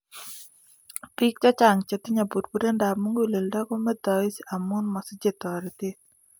Biik chechang' chetinye burburendab muguleldo komeitos amun mosich toretet